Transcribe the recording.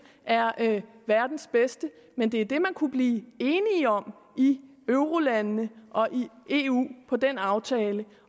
er verdens bedste men det er det man kunne blive enige om i eurolandene og i eu med den aftale